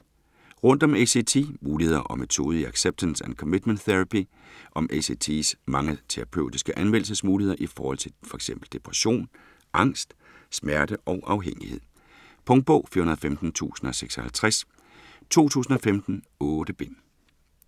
Rundt om ACT: muligheder og metode i acceptance and commitment therapy Om ACT's mange terapeutiske anvendelsesmuligheder i forhold til fx depression, angst, smerte og afhængighed. Punktbog 415056 2015. 8 bind.